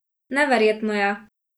Neverjetno je!